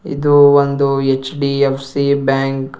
ಇದು ಒಂದು ಎಚ್_ಡಿ_ಎಫ್_ಸಿ ಬ್ಯಾಂಕ್ .